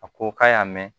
A ko k'a y'a mɛn